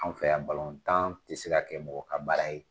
Anw fɛ yan ti se ka kɛ mɔgɔ ka baara ye.